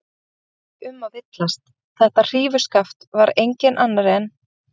En það var ekki um að villast: Þetta hrífuskaft var enginn annar en